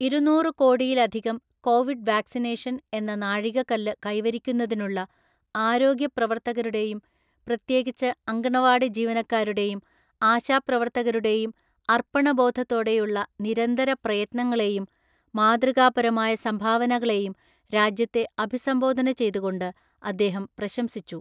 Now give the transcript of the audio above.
ഇരുന്നൂറു കോടിയിലധികം Covid vaccination‍ എന്ന നാഴികക്കല്ല് കൈവരിക്കുന്നതിനുള്ള ആരോഗ്യ പ്രവർത്തകരുടെയും പ്രത്യേകിച്ച് അംഗണവാടി ജീവനക്കാരുടെയും ആശാ പ്രവർത്തകരുടെയും അർപ്പണബോധത്തോടെയുള്ള നിരന്തര പ്രയത്നങ്ങളേയും മാതൃകാപരമായ സംഭാവനകളേയും രാജ്യത്തെ അഭിസംബോധന ചെയ്തുകൊണ്ട് അദ്ദേഹം പ്രശംസിച്ചു.